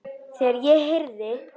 Þegar ég heyrði